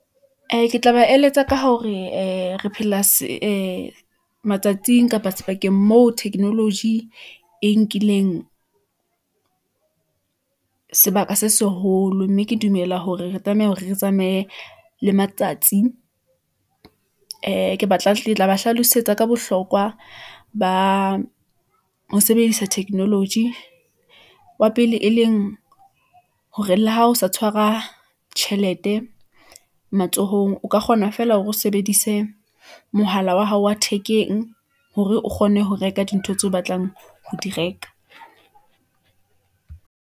Ee, ke tla ba eletsa ka hore matsatsing kapa sebakeng mo technology , e nkileng sebaka se seholo, mme ke dumela hore re tlameha hore re tsamaye le matsatsi . Ee, ke tla ba hlalosetsa ka bohlokwa ba ho sebedisa technology , wa pele e leng , hore, le ha ho sa tshwara tjhelete matsohong, o ka kgona feela hore o sebedise mohala wa hao wa thekeng , hore o kgone ho reka dintho tseo o batlang ho di reka.